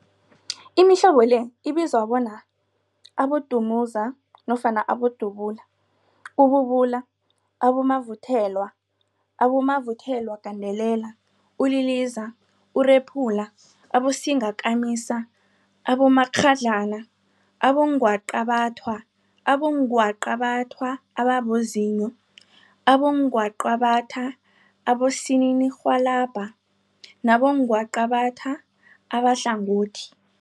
Imihlobo le ibizwa bona, Abodumuza nofana Abodubula, ububula, abomavuthelwa, abomavuthelwagandelela, uliliza, urephula, abosingakamisa, abomakghadlana, abongwaqabathwa, abongwaqabathwa ababozinyo, abongwaqabathwa abosininirhwalabha nabongwaqabatha abahlangothi.